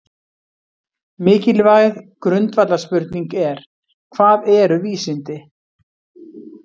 Mikilvæg grundvallarspurning er: Hvað eru vísindi?